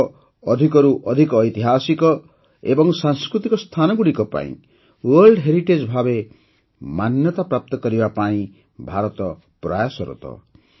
ଆମର ଅଧିକରୁ ଅଧିକ ଐତିହାସିକ ଏବଂ ସାଂସ୍କୃତିକ ସ୍ଥାନଗୁଡ଼ିକ ପାଇଁ ୱାର୍ଲଡ ହେରିଟେଜ୍ ଭାବେ ମାନ୍ୟତା ପ୍ରାପ୍ତ କରିବା ପାଇଁ ଭାରତ ପ୍ରୟାସରତ